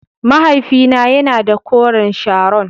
Mahaifina yana da koren Sharon.